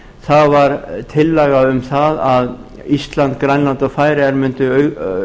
það var tillaga um að ísland grænland og færeyjar mundu